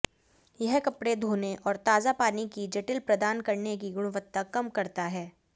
यह कपड़े धोने और ताजा पानी की जटिल प्रदान करने की गुणवत्ता कम करता है